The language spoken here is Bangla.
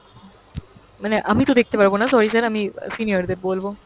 মানে আমি তো দেখতে পারবো না sorry sir আমি senior দের বলবো।